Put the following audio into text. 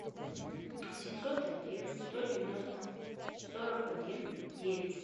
семьсот один сто девяносто сорок один девять